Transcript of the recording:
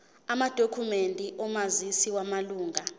amadokhumende omazisi wamalunga